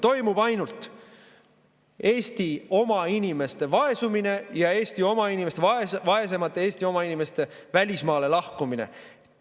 Toimub ainult Eesti oma inimeste vaesumine ja vaesemate Eesti oma inimeste välismaale lahkumine.